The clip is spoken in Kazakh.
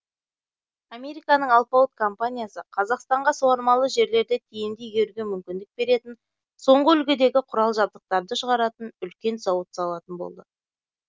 американың алпауыт компаниясы қазақстанға суармалы жерлерді тиімді игеруге мүмкіндік беретін соңғы үлгідегі құрал жабдықтарды шығаратын үлкен зауыт салатын болды